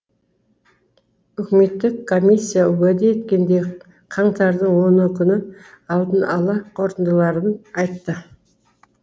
үкіметтік комиссия уәде еткендей қаңтардың оны күні алдын ала қорытындыларын айтты